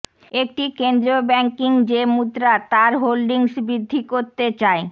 একটি কেন্দ্রীয় ব্যাংকিং যে মুদ্রার তার হোল্ডিংস বৃদ্ধি করতে চাই